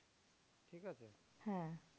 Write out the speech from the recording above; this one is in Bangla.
হ্যাঁ